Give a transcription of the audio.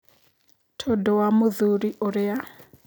Tondũ wa mũthuri ũrĩa.